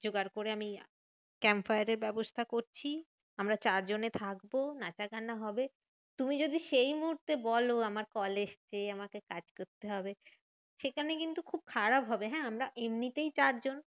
জোগাড় করে আমি campfire এর ব্যবস্থা করছি। আমরা চারজনে থাকবো নাচা গানা হবে। তুমি যদি সেই মুহূর্তে বলো আমার কল এসেছে, আমাকে কাজ করতে হবে, সেখানে কিন্তু খুব খারাপ হবে হ্যাঁ? আমরা এমনিতেই চারজন